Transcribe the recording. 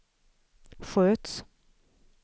sköts